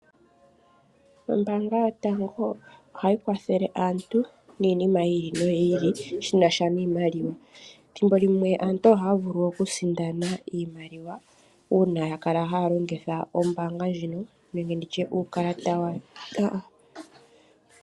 Ombaanga yotango ohayi kwathele aantu niinima yi ili shinasha niimaliwa, ethimbolimwe aantu ohaya vulu oku sindana iimaliwa uuna yakala haya longitha ombaanga ndjino nenge uukalata